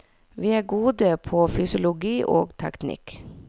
Vi er gode på fysiologi og teknikk.